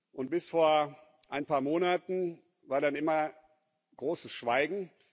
Und bis vor ein paar Monaten war dann immer großes Schweigen.